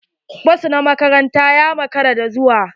Bas na makaranta ya makara da zuwa.